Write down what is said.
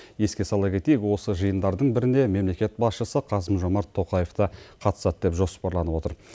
еске сала кетейік осы жиындардың бірінде мемлекет басшысы қасым жомарт тоқаев та қатысады деп жоспарланып отыр